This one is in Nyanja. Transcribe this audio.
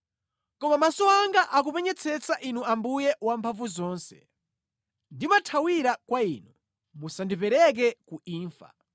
Koma maso anga akupenyetsetsa Inu Ambuye Wamphamvuzonse; ndimathawira kwa Inu, musandipereke ku imfa.